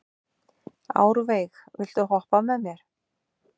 Árveig, viltu hoppa með mér?